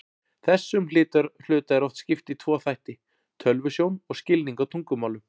Þessum hluta er oft skipt í tvo þætti, tölvusjón og skilning á tungumálum.